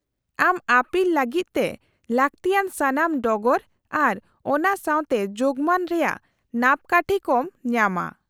- ᱟᱢ ᱟᱹᱯᱤᱞ ᱞᱟᱹᱜᱤᱫ ᱛᱮ ᱞᱟᱹᱠᱛᱤᱭᱟᱱ ᱥᱟᱱᱟᱢ ᱰᱚᱜᱚᱨ ᱟᱨ ᱚᱱᱟ ᱥᱟᱶ ᱛᱮ ᱡᱳᱜᱢᱟᱱ ᱨᱮᱭᱟᱜ ᱱᱟᱯᱠᱟᱴᱷᱤ ᱠᱚᱢ ᱧᱟᱢᱟ ᱾